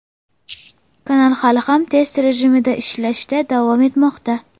Kanal hali ham test rejimida ishlashda davom etmoqda.